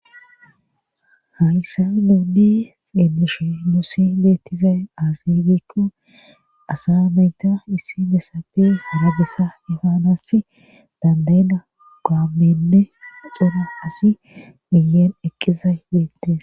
hayssa nuuddi xielushe nusi beettizay aazibekko asa meyta issi besappe hurabesa efaanass dandeyna gaamenne cora asi miyeen eqqizay beettes